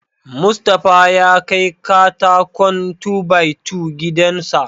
Mustapha ya kai katakon "2-by-2" gidan sa..